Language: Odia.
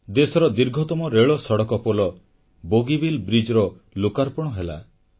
ଦେଶର ଦୀର୍ଘତମ ରେଳସଡ଼କ ପୋଲ ବୋଗିବିଲ ସେତୁର ଲୋକାର୍ପଣ ହେଲା